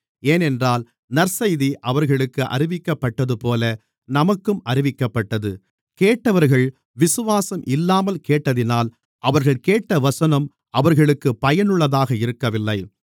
ஏனென்றால் நற்செய்தி அவர்களுக்கு அறிவிக்கப்பட்டதுபோல நமக்கும் அறிவிக்கப்பட்டது கேட்டவர்கள் விசுவாசம் இல்லாமல் கேட்டதினால் அவர்கள் கேட்ட வசனம் அவர்களுக்குப் பயனுள்ளதாக இருக்கவில்லை